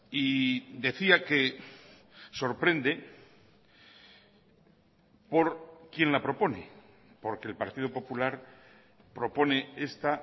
y decía que sorprende por quién la propone porque el partido popular propone esta